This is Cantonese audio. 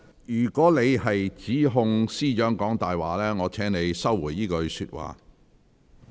如果你指控司長"講大話"，我請你收回這句話。